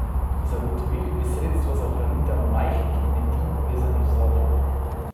Zagotovili bi sredstva za ohranitev majhnih kmetij, povezanih v zadrugo.